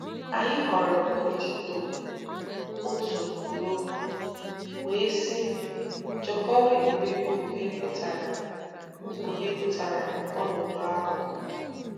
Anyị ghọrọ òdíðò otú loh, “wee sị Jokowi mgbe Kpùghèe pụtara Kpùghèe pụtara ọnọdụ ahụ.